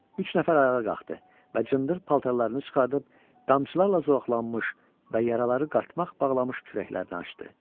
Üç nəfər ayağa qalxdı və cındır paltarlarını çıxarıb, qamçılarla zoğaqlanmış və yaraları qartmaq bağlamış kürəklərini açdı.